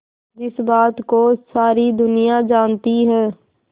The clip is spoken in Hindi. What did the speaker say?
जिस बात को सारी दुनिया जानती है